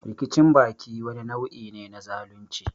Rikicin baki wani nau'i ne na zalunci.